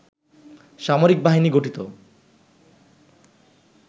সামরিক বাহিনী গঠিত